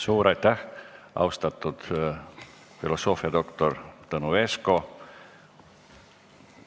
Suur aitäh, austatud filosoofiadoktor Tõnu Esko!